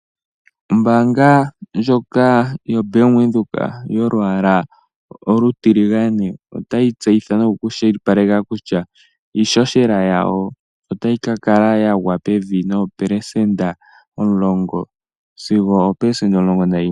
Ombaanga ndjoka yoBank windhoek yolwaala olutiligane otayi tseyitha nokushiwipaleka kutya iishoshela yawo otayi kakala yagwa pevi noopelesenta 10 sigo oopelesenta 11.